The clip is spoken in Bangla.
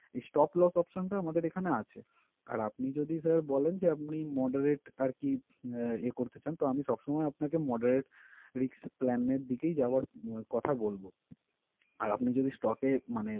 Stop loss option টা আমাদের এখানে আছে। আর আপনি যদি sir বলেন যে আপনি moderate আরকি আহ করতে চান তো আমি সবসময় আপনাকে moderate risk plan এর দিকেই যাওয়ার কথা বলবো। আর আপনি যদি stock এ মানে